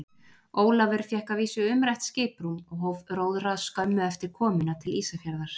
Ólafur fékk að vísu umrætt skiprúm og hóf róðra skömmu eftir komuna til Ísafjarðar.